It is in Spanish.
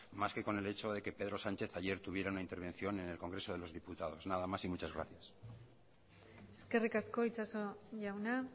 más que con el hecho de que pedro sánchez ayer tuviera una intervención en el congreso de los diputados nada más y muchas gracias eskerrik asko itxaso jauna